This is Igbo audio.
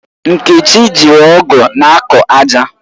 Nkechi jiri ọ̀gu na-akọ ájà